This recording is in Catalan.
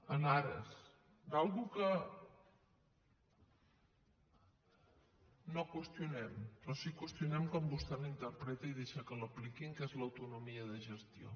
en ares d’una cosa que no qüestionem però sí que qüestionem com vostè l’interpreta i deixa que l’apliquin que és l’autonomia de gestió